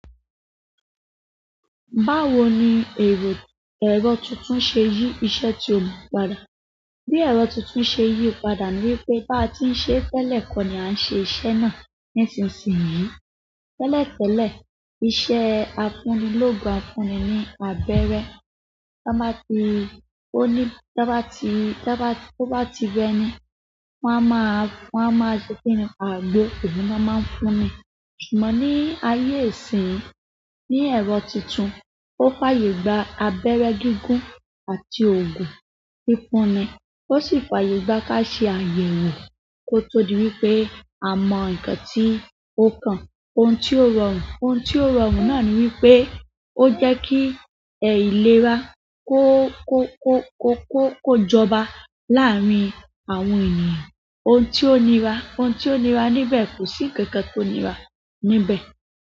Báwo ni eró ẹ̀rọ tuntun ṣe yí iṣẹ́ tí o gbà padà? Bí ẹ̀rọ tuntun ṣe yí padà ni wípé bá ti ń ṣe é tẹ́lẹ̀ kọ́ ni à ń ṣe iṣẹ́ náà nísinsìnyí. Tẹ́lẹ̀ tẹ́lẹ̀, iṣẹ́ afúnilógun afúnni ní abẹ́rẹ́. Tá n bá ti ó ní, tá n bá ti, tá n bá ti, to bá ti rẹ ni, wọ́n a máa, wọ́n a máa ṣe kí ni, agbo, òhún ni wọ́n máa ń fún ni ṣùgbọ́n ní ayé ìsinyìí, ní ẹ̀rọ tuntun, ó fàyè gba abẹ́rẹ́ gígùn àti òògùn fífúnni, ó sì fàyè gba ká ṣe àyè wò kó tó di wípé a mọ ǹkan tí ó kan. Ohun tí ó rọrùn, ohun tí ó rọrùn náà ni wípé ó jẹ́ kí ẹ̀ ìlera kó, kó, kó, kó, kó, kó jọba láàárín àwọn ènìyàn. Ohun tí ò ní rà, ohun tí ò ní rà níbẹ̀, kò sí nǹkan tó ní rà níbẹ̀.